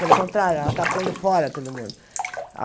Pelo contrário, ela está pondo fora todo mundo.